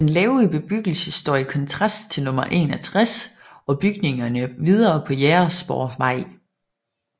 Den lave bebyggelse står i kontrast til nummer 61 og bygningerne videre på Jægersborgvej